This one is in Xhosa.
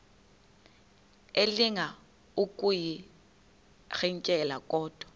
elinga ukuyirintyela kodwa